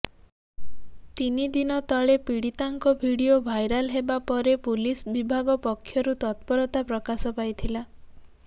ତିନି ଦିନ ତଳେ ପୀଡ଼ିତାଙ୍କ ଭିଡିଓ ଭାଇରାଲ ହେବା ପରେ ପୁଲିସ ବିଭାଗ ପକ୍ଷରୁ ତତ୍ପରତା ପ୍ରକାଶ ପାଇଥିଲା